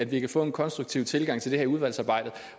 vi kan få en konstruktiv tilgang til det her udvalgsarbejde